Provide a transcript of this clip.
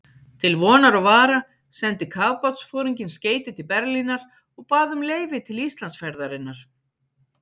Til vonar og vara sendi kafbátsforinginn skeyti til Berlínar og bað um leyfi til Íslandsferðarinnar.